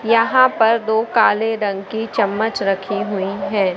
यहां पर दो काले रंग की चम्मच रखी हुई हैं।